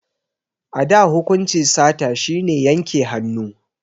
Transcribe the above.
A da hukunci sata shi ne yanke hannu